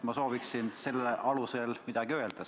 Ma sooviksin selle alusel midagi öelda.